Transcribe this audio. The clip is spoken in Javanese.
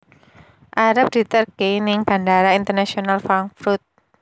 Arep diterke ning Bandara Internasional Frankfurt